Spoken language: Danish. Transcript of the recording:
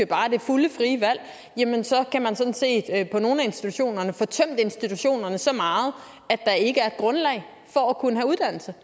bare det fulde frie valg jamen så kan man sådan set på nogle af institutionerne få tømt institutionerne så meget at der ikke er et grundlag for at kunne have uddannelse